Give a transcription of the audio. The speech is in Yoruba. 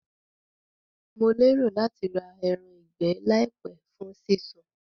Mo lérò láti ra eran ìgbẹ́ làìpé fún sí sun